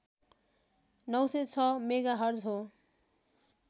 ९०६ megahertz हो